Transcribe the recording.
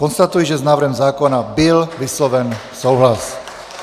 Konstatuji, že s návrhem zákona byl vysloven souhlas.